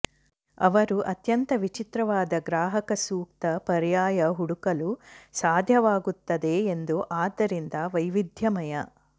ಅವರು ಅತ್ಯಂತ ವಿಚಿತ್ರವಾದ ಗ್ರಾಹಕ ಸೂಕ್ತ ಪರ್ಯಾಯ ಹುಡುಕಲು ಸಾಧ್ಯವಾಗುತ್ತದೆ ಎಂದು ಆದ್ದರಿಂದ ವೈವಿಧ್ಯಮಯ